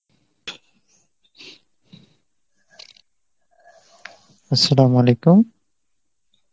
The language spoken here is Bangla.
Arbi